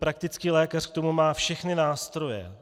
Praktický lékař k tomu má všechny nástroje.